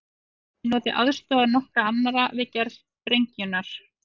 Hann hafði notið aðstoðar nokkurra annarra við gerð sprengjunnar.